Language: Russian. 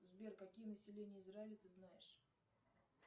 сбер какие населения израиля ты знаешь